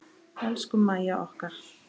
Elsku Mæja okkar.